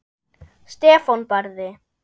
Stefán Barði.